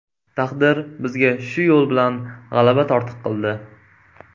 Taqdir bizga shu yo‘l bilan g‘alaba tortiq qildi.